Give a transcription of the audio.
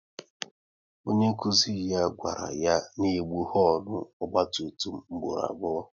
Onye nkụzi ya gwara ya n'egbu honu ọgba tum tum mgboro abụọ